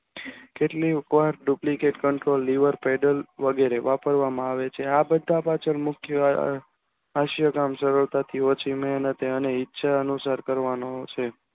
કેટલીક Duplicate control lever વગેરે વાપરવામાં આવે છે આ બધા પાછળ મુખ્ય હાસ્યકન્ટ જરૂર પડતી ઓછી મહેનતે અને ઈંચ અનુસાર કરવાનો છે